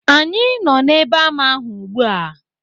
Anyị nọ n'ebe ama ahụ ugbu a.